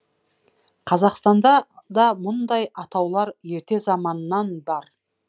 қазақстанда да мұндай атаулар ерте заманннан бар